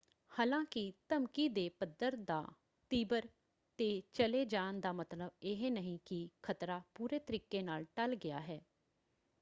ਹਾਲਾਂਕਿ ਧਮਕੀ ਦੇ ਪੱਧਰ ਦਾ ਤੀਬਰ ‘ਤੇ ਚਲੇ ਜਾਣ ਦਾ ਮਤਲਬ ਇਹ ਨਹੀਂ ਕਿ ਖਤਰਾ ਪੂਰੇ ਤਰੀਕੇ ਨਾਲ ਟਲ ਗਿਆ ਹੈ।